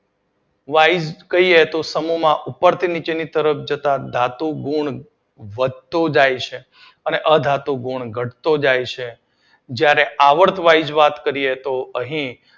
સમૂહ વાઇઝ કહીએ તો સમૂહ માં ઉપરથી નીચે તરફ જતાં ધાતુ ગુણ વધતું જાય છે અને અધાતુ ગુણ ઘટતું જાય છે. જ્યારે આવર્ત વાઇઝ વાત કરીએ તો અહી